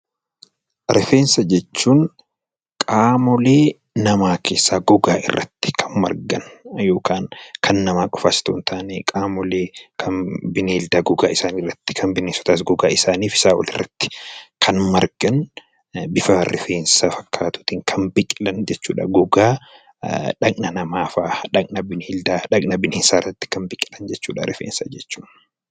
Rifeensa jechuun qaamolee namaa keessaa gogaa irratti kan margan yookaan kan namaa qofas otoo hin taane qaamolee kan bineeldaa gogaa isaanii irratti, kan bineensotaas gogaa isaanii fi isaa olitti kan margan bifa rifeensa fakkaatuutiin kan biqilan jechuudha gogaa dhaqna namaa faa, dhaqna bineeldaa, dhaqna bineensaa irratti kan biqilan jechuudha rifeensa jechuun.